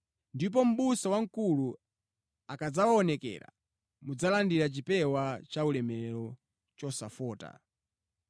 Ndipo Mʼbusa wamkulu akadzaonekera, mudzalandira chipewa cha ulemerero chosafota.